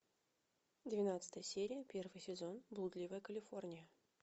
двенадцатая серия первый сезон блудливая калифорния